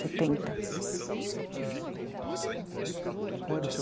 Setenta, qual era o